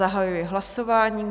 Zahajuji hlasování.